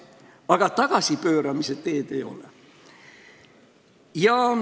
Aga tagasipööramise teed ei ole.